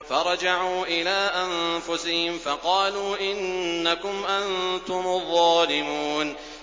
فَرَجَعُوا إِلَىٰ أَنفُسِهِمْ فَقَالُوا إِنَّكُمْ أَنتُمُ الظَّالِمُونَ